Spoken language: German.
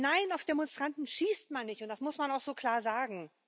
Nein, auf Demonstranten schießt man nicht, und das muss man auch so klar sagen.